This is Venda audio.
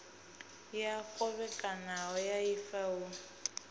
ya khovhekano ya ifa hu